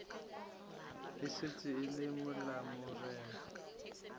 e šetše e le malamorena